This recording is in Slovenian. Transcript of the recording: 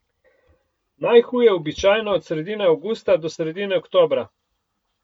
Najhuje običajno od sredine avgusta do sredine oktobra.